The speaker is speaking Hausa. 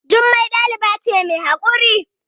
Jummai ɗaliba ce mai haƙuri